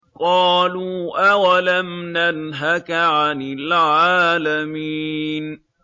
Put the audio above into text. قَالُوا أَوَلَمْ نَنْهَكَ عَنِ الْعَالَمِينَ